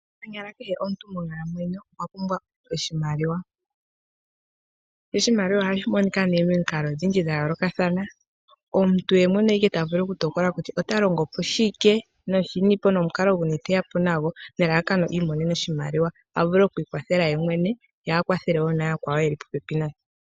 Konyala kehe omuntu monkalamwenyo okwa pumbwa oshimaliwa . Oshimaliwa ohashi monika momikalo odhindji dha yoolokathana. Omuntu yemwene oye ta tokola kutya oya longo shike nomukalo guni teya po nago nelalakano iimonene oshimaliwa , a vule okwiikwathela yemwene ye a kwathele mboka ye li popepi naye .